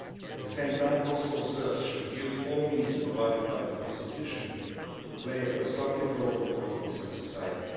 At the same time Kosovo Serbs should use all means provided by the constitution to play a constructive role in politics and society.